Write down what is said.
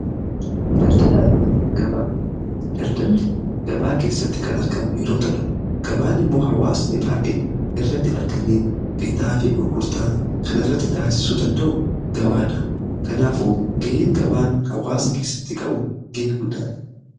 Daldalli gabaa keessatti kan argamu yeroo ta'u gabaan immoo hawaasni baay'een irratti argame bitaa fi gurgurtaa kan irratti taasisuu danda'u gabaadha. Kanaafuu ga'een gabaan hawaasa keessatti qabu ga'ee guddaadha.